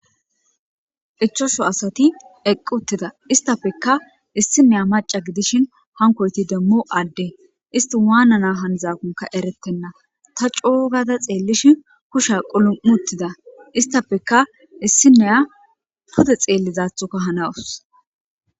ichosho asati eqqu uttida istafekka issineya maca gidishin hankoyti demmu adde isti waanana handzaakonka eretenna ta coogada xeellishin kusha qulum7uttida istafeka issineya pude xeellizaathuka hanawus